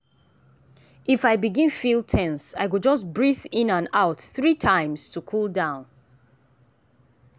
if i begin feel ten se i go just breath in and out three times to cool down.